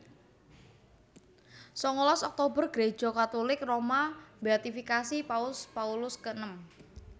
Sangalas Oktober Gréja Katulik Roma mbéatifikasi Paus Paulus keenem